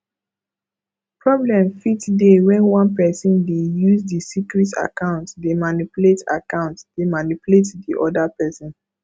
problem fit dey when one person de use di secret account dey manipulate account dey manipulate di oda person